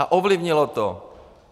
A ovlivnilo to.